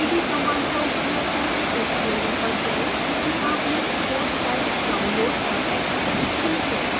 cd command का उपयोग करके उप folder पर जाएं जिसमें आपने code files downloaded और extracted की है